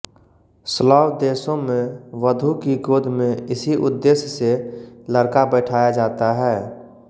Slav देशों में वधू की गोद में इसी उद्देश्य से लड़का बैठाया जाता है